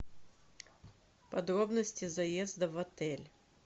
подробности заезда в отель